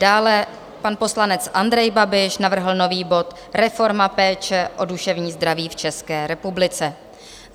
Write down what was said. Dále pan poslanec Andrej Babiš navrhl nový bod Reforma péče o duševní zdraví v České republice.